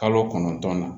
Kalo kɔnɔntɔn na